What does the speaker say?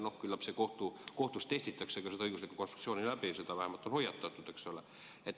No küllap kohtus testitakse see õiguslik konstruktsioon läbi ja selle eest on vähemalt hoiatatud, eks ole.